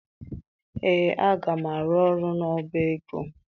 Ee, aga m arụ ọrụ n'ọba ego.